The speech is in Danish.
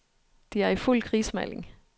De er i fuld krigsmaling.